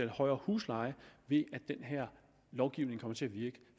højere husleje ved at den her lovgivning kommer til at virke